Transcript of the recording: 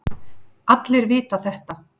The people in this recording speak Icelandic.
Allir vita þetta.